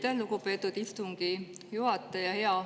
Aitäh, lugupeetud istungi juhataja!